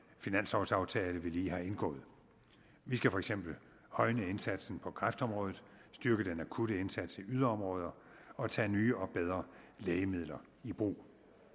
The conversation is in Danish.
finanslovaftale vi lige har indgået vi skal for eksempel højne indsatsen på kræftområdet styrke den akutte indsats i yderområder og tage nye og bedre lægemidler i brug